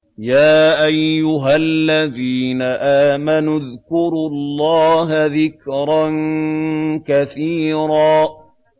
يَا أَيُّهَا الَّذِينَ آمَنُوا اذْكُرُوا اللَّهَ ذِكْرًا كَثِيرًا